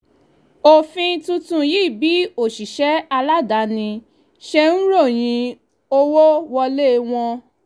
òfin tuntun yí bí òṣìṣẹ́ aládàáni ṣe ń ròyìn owó wọlé wọn